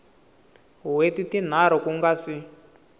wheti tinharhu ku nga si